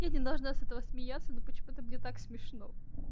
я не должна с этого смеяться но почему-то мне так смешно